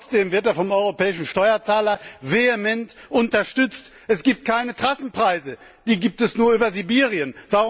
Trotzdem wird er vom europäischen Steuerzahler vehement unterstützt. Es gibt keine Trassenpreise, die gibt es nur über Sibirien.